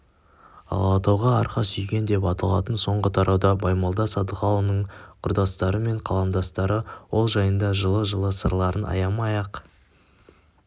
ал алатауға арқа сүйеген деп аталатын соңғы тарауда баймолда садыханұлының құрдастары мен қаламдастары ол жайында жылы-жылы сырларын аямай-ақ